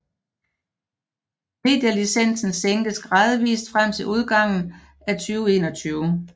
Medielicensen sænkes gradvist frem til udgangen af 2021